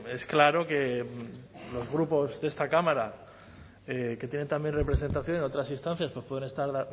es claro que los grupos de esta cámara que tienen también representación en otras instancias pues pueden estar